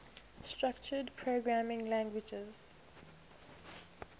structured programming languages